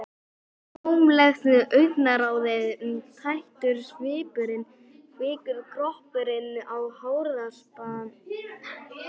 Tómlegt augnaráðið, tættur svipurinn- kvikur kroppurinn á harðaspani framhjá linsunni.